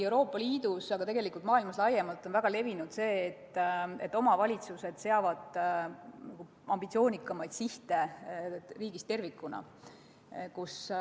Euroopa Liidus, aga tegelikult ka maailmas laiemalt on väga levinud see, et omavalitsused seavad ambitsioonikamaid sihte kui riigid tervikuna.